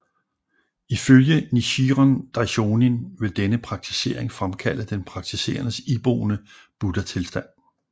Ifølge Nichiren Daishonin vil denne praktisering fremkalde den praktiserendes iboende buddhatilstand